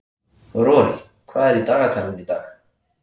Rorí, hvað er í dagatalinu í dag?